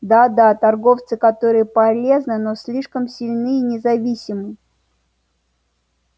да да торговцы которые полезны но слишком сильны и независимы